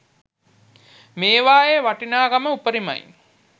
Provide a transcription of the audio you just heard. මේවායේ වටිනාකම උපරිමයි